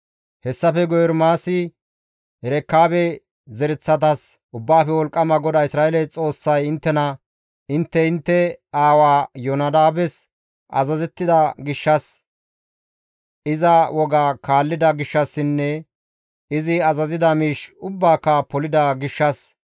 Hessafe guye Ermaasi Erekaabe zereththatas, «Ubbaafe Wolqqama GODAA Isra7eele Xoossay inttena, ‹Intte intte aawa Iyoonadaabes azazettida gishshas, iza woga kaallida gishshassinne izi azazida miish ubbaaka polida gishshas,